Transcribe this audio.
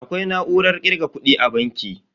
Akwai na'urar kirga kudi a banki.